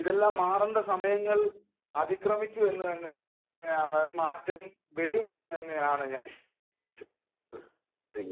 ഇതെല്ലം മാറേണ്ട സമയങ്ങൾ അതിക്രമിച്ചു എന്നാൽ മാറ്റങ്ങൾ വരും എന്നാണ് ഞാൻ വിശ്വസിക്കുന്നത്